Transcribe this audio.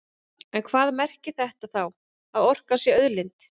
En hvað merkir þetta þá, að orkan sé auðlind?